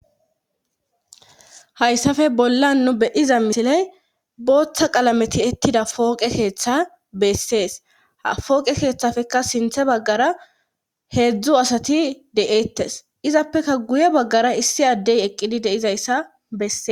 Hayssafe bolla nu be'iza misiley booththa qalameti ettida fooqe keeththa bessees fooqe keeththafekka sinthe baggara heedzdzu asati de'eettes izappeka guye baggara issi addey eqqidi deizayssa besses